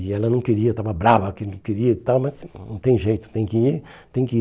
E ela não queria, estava brava, que não queria e tal mas não não tem jeito, tem que ir, tem que ir.